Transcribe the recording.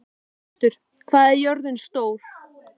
Hjörtur, hvað er jörðin stór?